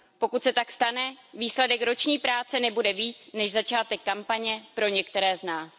Pokud se tak stane, výsledek roční práce nebude víc než začátek kampaně pro některé z nás.